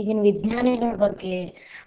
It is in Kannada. ಈಗಿನ ವಿಜ್ಞಾನಿಗಳ ಬಗ್ಗೆ.